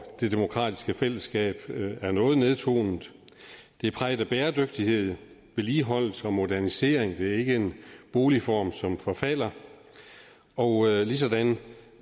det demokratiske fællesskab er noget nedtonet det er præget af bæredygtighed vedligeholdelse og modernisering det er ikke en boligform som forfalder og ligesådan